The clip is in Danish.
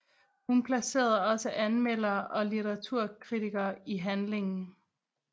Hun placerede også anmeldere og litteraturkritikere i handlingen